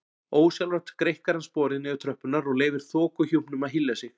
Ósjálfrátt greikkar hann sporið niður tröppurnar og leyfir þokuhjúpnum að hylja sig.